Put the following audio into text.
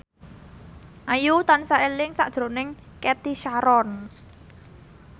Ayu tansah eling sakjroning Cathy Sharon